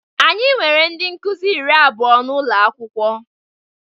Anyị nwere ndị Nkụzi iri abụọ n'ụlọ akwụkwọ